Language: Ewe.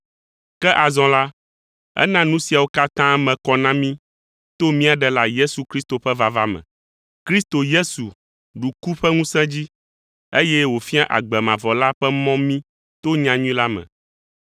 Ke azɔ la, ena nu siawo katã me kɔ na mí to mía Ɖela Yesu Kristo ƒe vava me. Kristo Yesu ɖu ku ƒe ŋusẽ dzi, eye wòfia agbe mavɔ la ƒe mɔ mí to nyanyui la me.